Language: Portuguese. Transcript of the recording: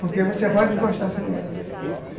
Porque você vai desgostar seu neto.